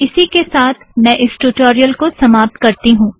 इसी के सात मैं इस ट्यूटोरियल को समाप्त करती हूँ